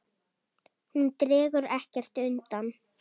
Hún dregur ekkert undan.